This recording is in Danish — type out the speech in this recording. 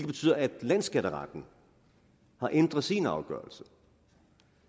betyder at landsskatteretten har ændret sin afgørelse og